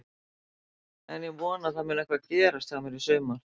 En ég vona að það muni eitthvað gerast hjá mér í sumar.